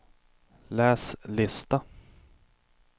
läs lista